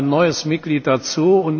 Es kommt ein neues Mitglied dazu.